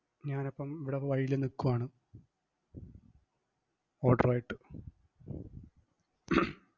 ഞാൻ അപ്പം ഇവിട വഴിയിൽ നിക്കുവാണ് order ഉവായിട്ട്.